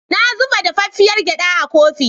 Na zuba dafaffiar gyaɗa a kofi.